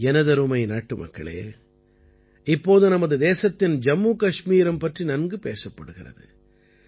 எனதருமை நாட்டுமக்களே இப்போது நமது தேசத்தின் ஜம்மு கஷ்மீரம் பற்றி நன்கு பேசப்படுகிறது